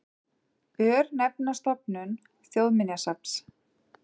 Örnefnastofnun Þjóðminjasafns.